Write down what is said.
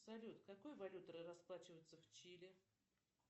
салют какой валютой расплачиваются в чили